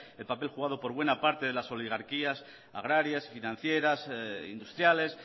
el papel jugado por buena parte de las oligarquías agrarias financieras industriales